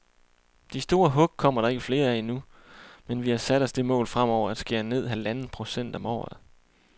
De store hug kommer der ikke flere af nu, men vi har sat os det mål fremover at skære med halvanden procent om året.